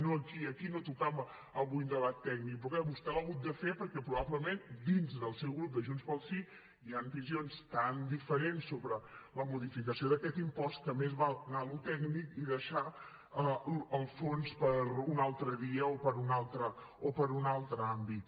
no aquí aquí no tocava avui un debat tècnic però clar vostè l’ha hagut de fer perquè probablement dins del seu grup de junts pel sí hi han visions tan diferents sobre la modificació d’aquest impost que més val anar a allò tècnic i deixar el fons per un altre dia o per un altre àmbit